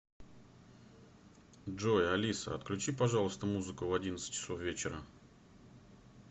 джой алиса отключи пожалуйста музыку в одиннадцать часов вечера